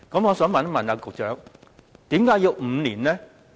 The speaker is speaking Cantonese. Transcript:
我想問局長，為何要5年？